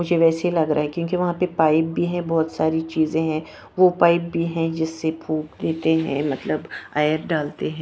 मुझे वैसे ही लग रहा है क्योंकि वहां पे पाइप भी है बहुत सारी चीजें हैं वो पाइप भी है जिससे फूक देते हैं मतलब आयर डालते हैं।